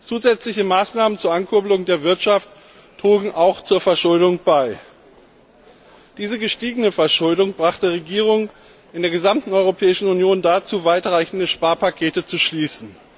Zusätzliche Maßnahmen zur Ankurbelung der Wirtschaft trugen auch zur Verschuldung bei. Diese gestiegene Verschuldung brachte Regierungen in der gesamten Europäischen Union dazu, weitreichende Sparpakete zu schließen.